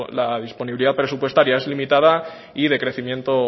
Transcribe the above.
la disponibilidad presupuestaria es limitada y de crecimiento